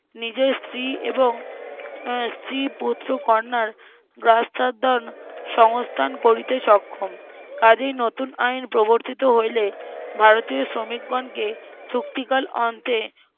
নিজের স্ত্রী এবং আহ স্ত্রী পুত্র কন্যার সংস্থান করিতে সক্ষম কাজেই নতুন আইন প্রবর্তিত হইলে ভারতীয় শ্রমিকগণকে চুক্তিকাল অন্তে